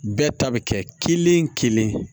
Bɛɛ ta bɛ kɛ kelen kelen